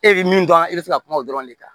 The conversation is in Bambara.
E bɛ min dɔn e bɛ fɛ ka kuma o dɔrɔn de kan